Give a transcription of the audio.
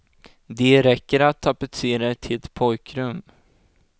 De räcker att tapetsera ett helt pojkrum.